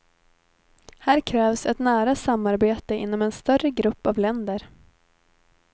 Här krävs ett nära samarbete inom en större grupp av länder.